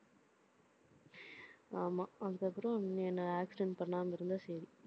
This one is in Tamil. ஆமா. அதுக்கப்புறம் நீ என்னை accident பண்ணாம இருந்தா சரி